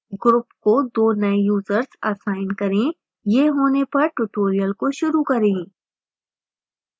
group को 2 नए users assign करें यह होने पर ट्यूटोरियल को शुरू करें